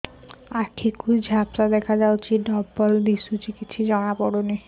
ଆଖି କୁ ଝାପ୍ସା ଦେଖାଯାଉଛି ଡବଳ ଦିଶୁଚି